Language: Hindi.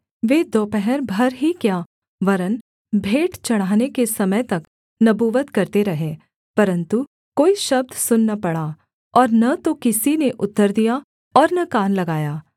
वे दोपहर भर ही क्या वरन् भेंट चढ़ाने के समय तक नबूवत करते रहे परन्तु कोई शब्द सुन न पड़ा और न तो किसी ने उत्तर दिया और न कान लगाया